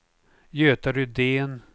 Göta Rydén